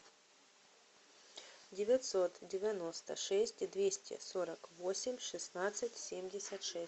девятьсот девяносто шесть двести сорок восемь шестнадцать семьдесят шесть